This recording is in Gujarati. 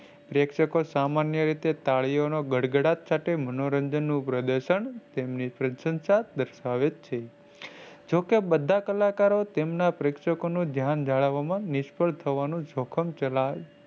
પ્રેક્ષકો સામાન્ય રીતે તાળીઓના ગડગડાટ સાથે મનોરંજન નું પ્રદર્શન તેમની પ્રશંસા દર્શાવેછે. જોકે બધા કલાકારો તેમના પ્રેક્ષકોનું ધ્યાન જાણવામાં નિષ્ફળ થવાનો જોખમ,